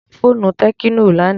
Mo ra fóònù tẹ́kínò lánàá.